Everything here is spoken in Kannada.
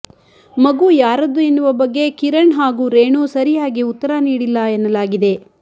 ಮಗು ಯಾರದ್ದು ಎನ್ನುವ ಬಗ್ಗೆ ಕಿರಣ್ ಹಾಗೂ ರೇಣು ಸರಿಯಾಗಿ ಉತ್ತರ ನೀಡಿಲ್ಲ ಎನ್ನಲಾಗಿದೆ